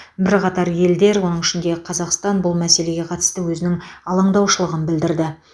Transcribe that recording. бір қатар елдер оның ішінде қазақстан бұл мәселеге қатысты өзінің алаңдаушылығын білдірді